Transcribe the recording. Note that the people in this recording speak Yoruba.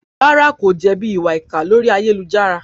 Rárá, kò jẹ̀bi ìwà ìkà orí ayélujára?